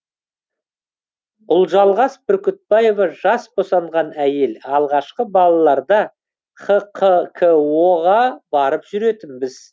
ұлжалғас бүркітбаева жас босанған әйел алғашқы балаларда хқко ға барып жүретінбіз